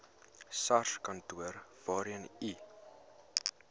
sarskantoor waarheen u